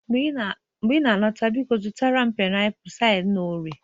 mgbe ị na-alọta, biko zụtara m painiapulu site na ore